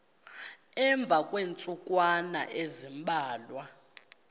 emva kweentsukwana ezimbalwa